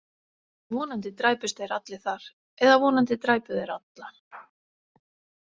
Vonandi dræpust þeir allir þar eða vonandi dræpu þeir alla.